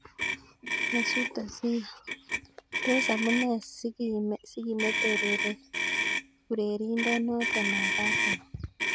Mesut Ozil: Tos amune sikimete urerindo noto ab arsenal.